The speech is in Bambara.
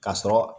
Ka sɔrɔ